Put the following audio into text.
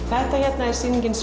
þetta hérna er sýningin